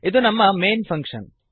ಇದು ನಮ್ಮ main function